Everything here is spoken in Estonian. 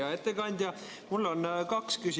Hea ettekandja!